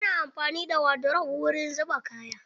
Ana amfani da wadrof wurin zuba kaya.